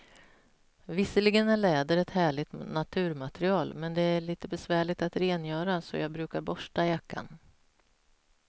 Visserligen är läder ett härligt naturmaterial, men det är lite besvärligt att rengöra, så jag brukar borsta jackan.